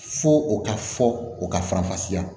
Fo o ka fɔ o ka faranfasiya